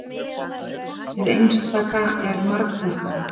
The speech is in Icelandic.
hið einstaka er margbrotnara